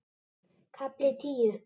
KAFLI TÍU